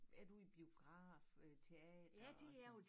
Er du i biograf øh teater og sådan